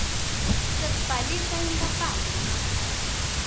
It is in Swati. sekubhalisa inkapani yangaphandle